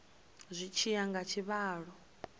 zwi tshi ya nga tshivhalo